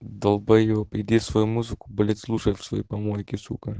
далбоеб иди свою музыку белять слушать в своей помойке